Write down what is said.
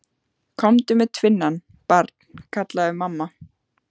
Komdu með tvinnann, barn, kallaði mamma.